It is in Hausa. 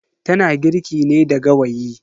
Tana girki ne da gawayi.